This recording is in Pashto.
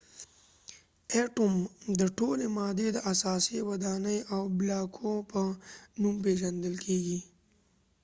اټوم د ټولې مادې د اساسي ودانۍ د بلاکو په نوم پيژندل کيږي